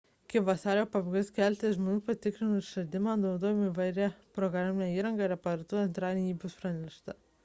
iki vasario pabaigos keletas žmonių patikrino išradimą naudodami įvairią programinę įrangą ir aparatūrą ir antradienį apie jį buvo pranešta